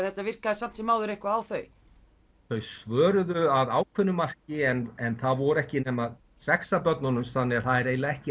þetta virkaði samt sem áður eitthvað á þau þau svöruðu að ákveðnu marki en það voru ekki nema sex af börnunum þannig að það er eiginlega ekki